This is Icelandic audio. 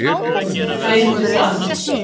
Reyndu það.